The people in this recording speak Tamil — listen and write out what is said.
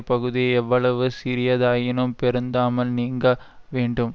பகுதியை எவ்வளவு சிறியதாயினும் பொருந்தாமல் நீங்க வேண்டும்